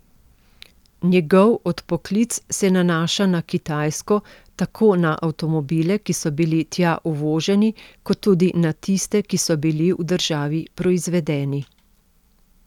Njegov odpoklic se nanaša na Kitajsko, tako na avtomobile, ki so bili tja uvoženi, kot tudi na tiste, ki so bili v državi proizvedeni.